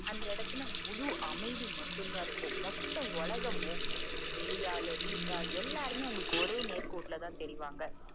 அந்தடத்துல முழு அமைதி மட்டும் தான் இருக்கும் மொத்த உலகமும் வெளி வெளியாலு வீட்டாலு எல்லாருமே உங்களுக்கு ஒரே நேர் கோட்டுல தான் தெரிவாங்க